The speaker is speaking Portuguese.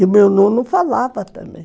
E o meu nono falava também.